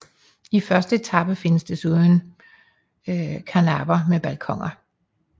I første etage findes desuden karnapper med balkoner